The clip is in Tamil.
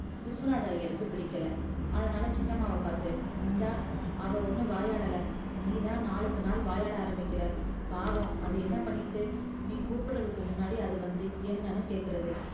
விஸ்வநாதர் ஐயருக்கு பிடிக்கல அதனால சின்னம்மாவ பாத்து இந்தா அவ ஒன்னு வாயாடல நீந்தா நாளுக்கு நாள் வாயாடுற பாவும் அது என்னபன்னித்து நீ கூப்பற்றதுக்கு முன்னாடி அது வந்து என்னனு கேக்கறது